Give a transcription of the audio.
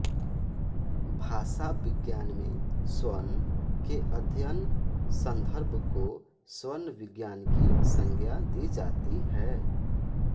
भाषाविज्ञान में स्वन के अध्ययन संदर्भ को स्वनविज्ञान की संज्ञा दी जाती है